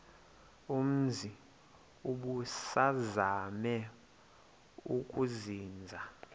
umzi ubusazema ukuzinza